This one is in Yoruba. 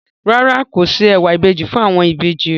Rárá, kò se ẹ̀wà ìbejì fún àwọn ìbejì rẹ̀.